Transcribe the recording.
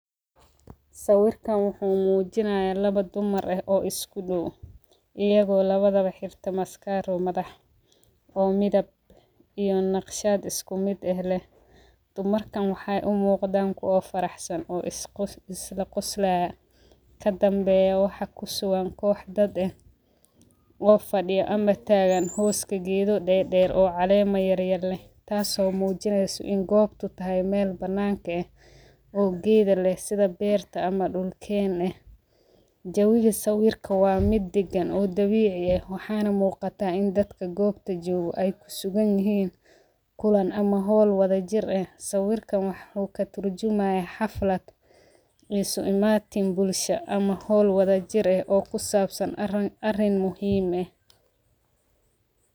Sawirka wuxuu muujinay laba dumar ah oo isku dhawaan, iyagoo labadaba xirta maskaar madax oo midab in nafshaad isku mid ah leh. Dumarkan waxay u muuqdaan koo faraxsan oo isu isla ku isticmaala ka danbeeyay waxa ku suwaan kooxdad ah oo fadhiya ama taagan hoos ka giido dhee dheer oo caleema yar yeenle. Taaso muujinaysa in goob tu tahay meel banaanke ah oo gaada leh sida beerta ama dhulkeen ah. Jawiyo sawirka waa mid diggan oo dabiici ah. Waxaan muuqata in dadka goobta joogu ay ku sugan yihiin kullan ama hol wada jir ah. Sawirkan wuxuu ka turjumahay xaflad isu imaatim bulsho ama hol wada jir ah oo ku saabsan arin muhiim ah.